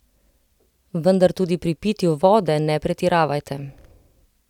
Vendar tudi pri pitju vode ne pretiravajte!